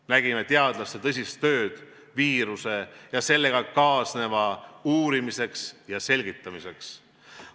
Nägime teadlaste tõsist tööd viiruse ja sellega kaasneva uurimiseks ja selgitamiseks.